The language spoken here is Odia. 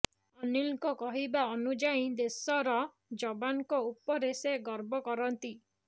ଅନୀଲଙ୍କ କହିବା ଅନୁଯାୟୀ ଦେଶର ଯବାନଙ୍କ ଉପରେ ସେ ଗର୍ବ କରନ୍ତି